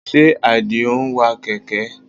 Ṣe Àdìó ń wa kẹ̀kẹ́?